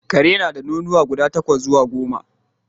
Ƙare na da nonuwa guda takwas zuwa goma